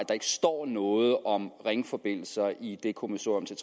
står noget om ringforbindelser i det kommissorium